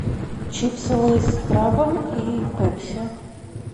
чипсы лейс с крабом и пепси